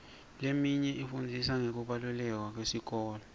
leminye ifundzisa ngekubaluleka kwesikole